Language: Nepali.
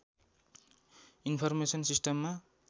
इन्फरमेसन सिस्टममा